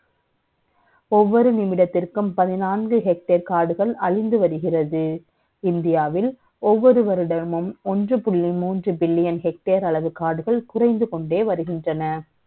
ஒவ்வ ொரு நிமிடத்திற்கும் பதினான்கு hectare காடுகள் அழிஞ்சு வருகிறது. இந்தியாவில் ஒவ்வ ொரு வருடமும் ஒன்று புள்ளி மூன்று பில்லியன் hectare அளவு காடுகள் குறை ந்து க ொண்டே வருகின்றன